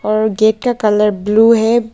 और गेट का colour blue है।